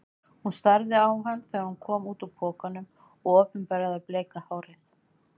Hún starði á hann þegar hann kom út úr pokanum og opinberaði bleika hárið.